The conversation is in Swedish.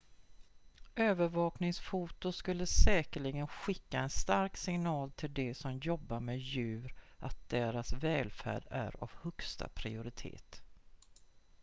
"""övervakningsfoto skulle säkerligen skicka en stark signal till de som jobbar med djur att deras välfärd är av högsta prioritet.""